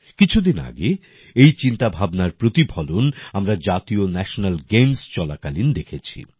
কিছুদিন আগে এই চিন্তাভাবনার প্রতিফলন আমরা জাতীয় ন্যাশেনাল গেমস চলাকালীন দেখেছি